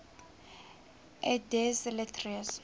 et des lettres